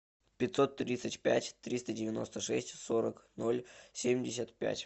пятьсот тридцать пять триста девяносто шесть сорок ноль семьдесят пять